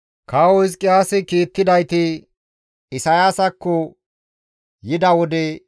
Kawo Hizqiyaasi kiittidayti Isayaasakko yida wode,